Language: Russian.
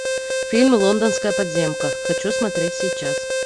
фильм лондонская подземка хочу смотреть сейчас